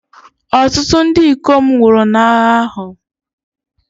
Ọtụtụ ndị ikom nwụrụ n'agha ahụ.